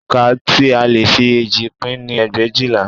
Oǹkà tí a lè fi eéjì pín ni ẹgbẹ̀éjìlá